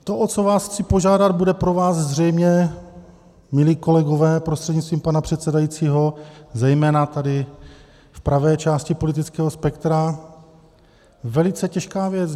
To, o co vás chci požádat, bude pro vás zřejmě, milí kolegové prostřednictvím pana předsedajícího, zejména tady v pravé části politického spektra, velice těžká věc.